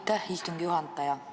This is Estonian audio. Aitäh, istungi juhataja!